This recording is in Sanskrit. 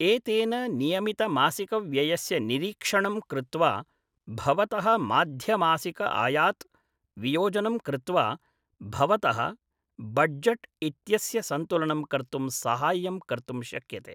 एतेन नियमितमासिकव्ययस्य निरीक्षणं कृत्वा, भवतः माध्यमासिक आयात् वियोजनं कृत्वा, भवतः बड्जट् इत्यस्य सन्तुलनं कर्तुं साहाय्यं कर्तुं शक्यते।